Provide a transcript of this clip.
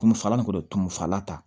Tumufagalan kɔni tumu falata